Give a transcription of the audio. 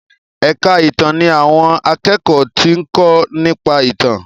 èka ìtàn ní àwọn akékòó tí nko nípa ìtàn.